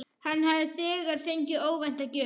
Hann hafði þegar fengið óvænta gjöf.